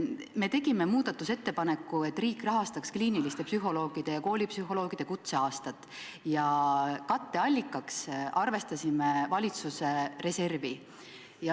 Me tegime muudatusettepaneku, et riik rahastaks kliiniliste psühholoogide ja koolipsühholoogide kutseaastat, ja katteallikaks panime valitsuse reservi.